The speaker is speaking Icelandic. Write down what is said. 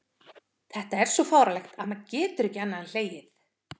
Þetta er svo fáránlegt að maður getur ekki annað en hlegið.